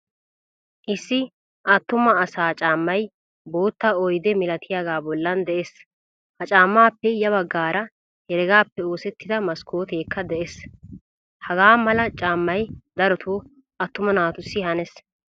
Issi attuma asa caamay boottaa oyde milattiyaga bollan de'ees. Ha caamappe ya baggaara heregappe oosettida maskkotekka de'ees. Hagaa mala caamay darotto attuma naatusi hanees.